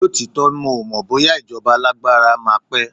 lotitọ, mi o mọ bóyá ijoba alagbara ma pe